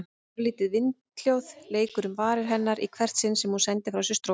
Örlítið vindhljóð leikur um varir hennar í hvert sinn sem hún sendir frá sér strók.